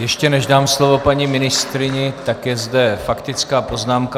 Ještě než dám slovo paní ministryni, tak je zde faktická poznámka.